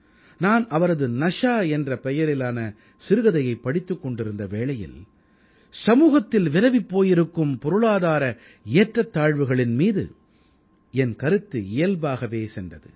நான் அவரது நஷா என்ற பெயரிலான சிறுகதையைப் படித்துக் கொண்டிருந்த வேளையில் சமூகத்தில் விரவிப் போயிருக்கும் பொருளாதார ஏற்றத்தாழ்வுகளின் மீது என் கருத்து இயல்பாகவே சென்றது